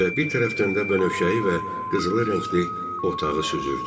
Və bir tərəfdən də bənövşəyi və qızılı rəngli otağı süzürdü.